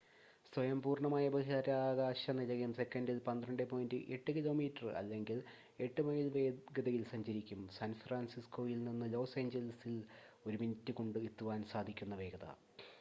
സ്വയം പൂർണ്ണമായ ബഹിരാകാശ നിലയം സെക്കൻഡിൽ 12.8 കിലോമീറ്റർ അല്ലെങ്കിൽ 8 മൈൽ വേഗതയിൽ സഞ്ചരിക്കും സാൻഫ്രാൻസിസ്കോയിൽ നിന്ന് ലോസ് ഏഞ്ചൽസിൽ ഒരു മിനിറ്റ് കൊണ്ട് എത്തുവാൻ സാധിക്കുന്ന വേഗത